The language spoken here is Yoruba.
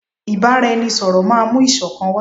Ìbáraẹnisọ̀rọ̀ máà mú ìṣọ̀kan wá.